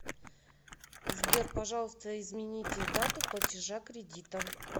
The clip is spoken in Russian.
сбер пожалуйста измените дату платежа кредита